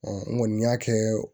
n kɔni y'a kɛ